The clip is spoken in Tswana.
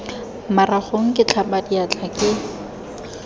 maragong ke tlhapa diatla ke